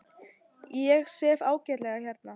Ég sef ágætlega hérna.